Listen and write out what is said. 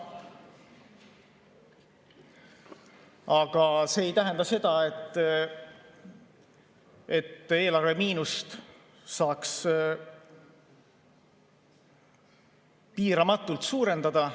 Aga see ei tähenda seda, et eelarvemiinust saaks piiramatult suurendada.